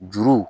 Juru